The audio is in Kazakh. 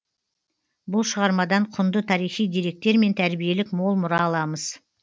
бұл шығармадан құнды тарихи деректер мен тәрбиелік мол мұра ала аламыз